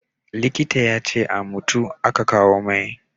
Likita ya ce a mutu a ka kawo mai